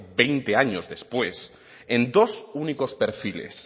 veinte años después en dos únicos perfiles